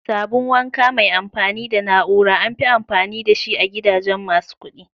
Sabun wanka mai amfani da na'ura amfi amfani da shi a gidajen masu kudi.